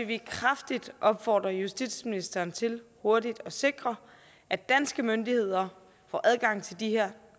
vi kraftigt opfordre justitsministeren til hurtigt at sikre at danske myndigheder får adgang til de her